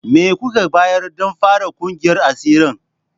Me kuka bayar don fara kungiyar asirin?